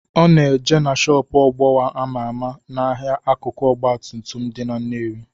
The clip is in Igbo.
Ọ na-eje na shọpu Ogbowa ama ama n'ahịa akụkụ ọgbatumtum dị na Nnewi.